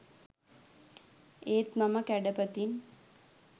ඒත් මම කැඩපතින්